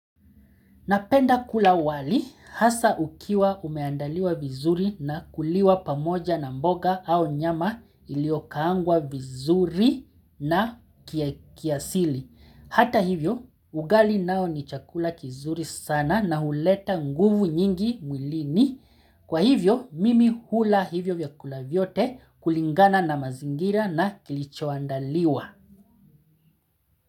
Napenda kula wali, hasa ukiwa umeandaliwa vizuri na kuliwa pamoja na mboga au nyama iliokaangwa vizuri na kiasili. Hata hivyo, ugali nao ni chakula kizuri sana na huleta nguvu nyingi mwilini. Kwa hivyo, mimi hula hivyo vyakula vyote kulingana na mazingira na kilichoandaliwa.